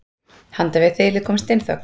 Handan við þilið kom steinþögn.